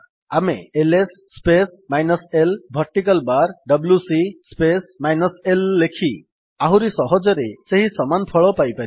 ଆମେ L S space minus l vertical bar W C space minus l ଲେଖି ଆହୁରି ସହଜରେ ସେହି ସମାନ ଫଳ ପାଇପାରିବା